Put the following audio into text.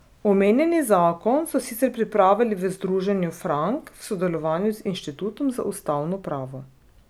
Omenjeni zakon so sicer pripravili v Združenju Frank v sodelovanju z Inštitutom za ustavno pravo.